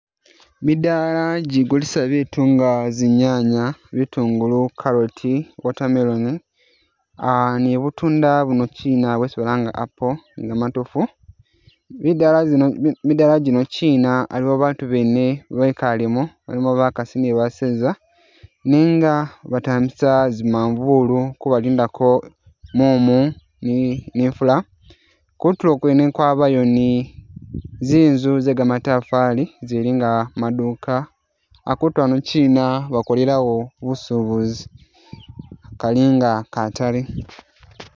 Midaala ijigulisa bitunda, zinyanya, bitungulu, carrot, water melon, aah ne butunda bunoshina isi balanga bari apple ne gamatofu, midaala zino, midaala jino chiina uh aliwo baatu bene bekaalemo bakaasi ne baseeza nenga batambisa zimafuulu kubalindako mumu ne ifula, kutulo kwene kwabayo ne zinzu ze gamatafaali izili nga maduuka, akuutu ano chiina bakolelawo busubuzi, kali nga kataale.